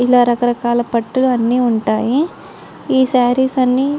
ఇలా రకరకాల పట్టు అని ఉంటాయి. ఏ సారీస్ అన్ని--